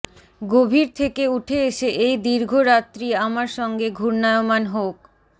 গভীর থেকে উঠে এসে এই দীর্ঘ রাত্রি আমার সঙ্গে ঘূর্নায়মান হোক